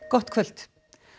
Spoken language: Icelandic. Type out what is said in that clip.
gott kvöld